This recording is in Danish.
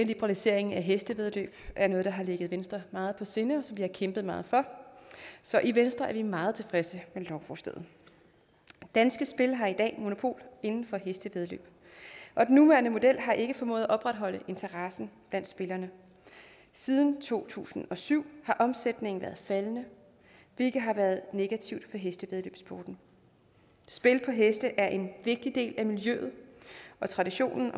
liberalisering af hestevæddeløb er noget der har ligget venstre meget på sinde og som vi har kæmpet meget for så i venstre er vi meget tilfredse med lovforslaget danske spil her i dag monopol inden for hestevæddeløb og den nuværende model har ikke formået at opretholde interessen blandt spillerne siden to tusind og syv har omsætningen været faldende hvilket har været negativt hestevæddeløbssporten spil på heste er en vigtig del af miljøet og traditionen